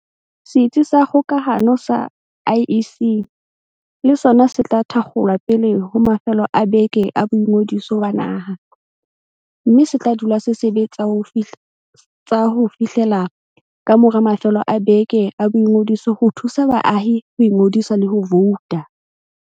Setsi sa kgokahano sa IEC le sona se tla thakgolwa pele ho mafelo a beke a boingodiso ba naha, mme se tla dula se sebe tsa ho fihlela kamora mafelo a beke a boingodiso ho thusa baahi ho ingodisa le ho vouta.